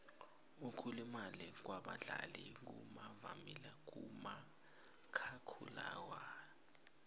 ukulimala kwabadlali kuvamile kumakhakhulararhwe